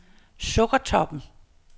Sukkertoppen